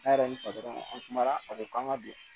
Ne yɛrɛ ni kumana a don k'an ka don